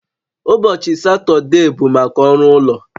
Ụbọchị Satọde bụ maka ọrụ ụlọ